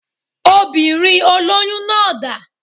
Obìnrin olóyún náà dá